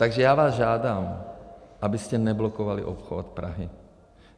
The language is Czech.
Takže já vás žádám, abyste neblokovali obchvat Prahy.